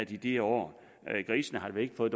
i de år grisene har vel ikke fået